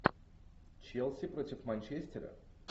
челси против манчестера